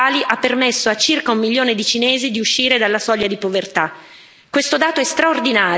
La partecipazione agli scambi globali ha permesso a circa un milione di cinesi di uscire dalla soglia di povertà.